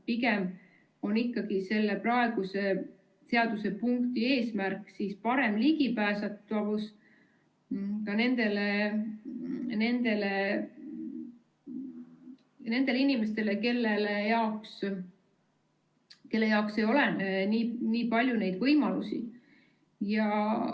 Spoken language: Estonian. Pigem on ikkagi selle praeguse seadusepunkti eesmärk parem ligipääsetavus ka nendele inimestele, kelle jaoks ei ole neid võimalusi nii palju.